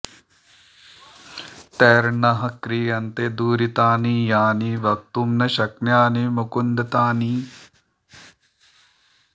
तैर्न्नः क्रियन्ते दुरितानि यानि वक्तुं न शक्यानि मुकुन्द तानि